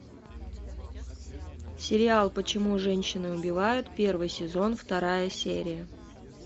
сериал почему женщины убивают первый сезон вторая серия